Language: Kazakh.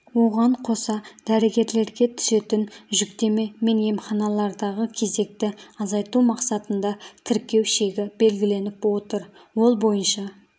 оған қоса дәрігерлерге түсетін жүктеме мен емханалардағы кезекті азайту мақсатында тіркеу шегі белгіленіп отыр ол бойынша